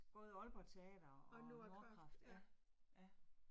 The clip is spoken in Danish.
Både Aalborg Teater og Nordkraft, ja, ja